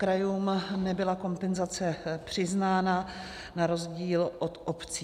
Krajům nebyla kompenzace přiznána, na rozdíl od obcí.